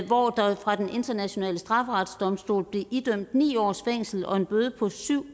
hvor der fra den internationale straffedomstols side blev idømt ni års fængsel og en bøde